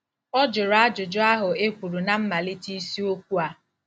Ọ jụrụ ajụjụ ahụ e kwuru ná mmalite isiokwu a.